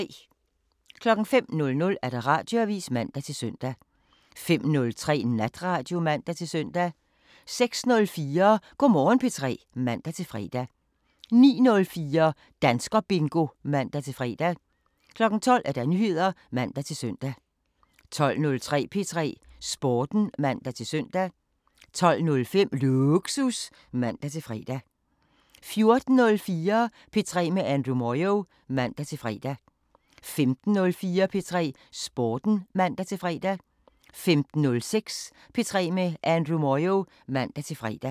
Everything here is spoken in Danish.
05:00: Radioavisen (man-søn) 05:03: Natradio (man-søn) 06:04: Go' Morgen P3 (man-fre) 09:04: Danskerbingo (man-fre) 12:00: Nyheder (man-søn) 12:03: P3 Sporten (man-søn) 12:05: Lågsus (man-fre) 14:04: P3 med Andrew Moyo (man-fre) 15:04: P3 Sporten (man-fre) 15:06: P3 med Andrew Moyo (man-fre)